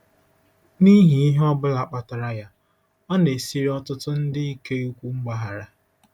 N'ihi ihe ọ bụla kpatara ya, ọ na-esiri ọtụtụ ndị ike ikwu mgbaghara.